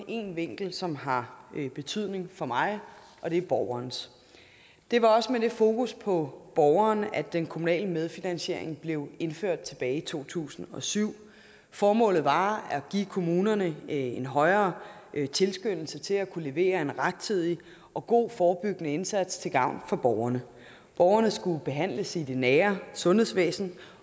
en vinkel som har betydning for mig og det er borgerens det var også med fokus på borgeren at den kommunale medfinansiering blev indført tilbage i to tusind og syv formålet var at give kommunerne en højere tilskyndelse til at kunne levere en rettidig og god forebyggende indsats til gavn for borgerne borgerne skulle behandles i det nære sundhedsvæsen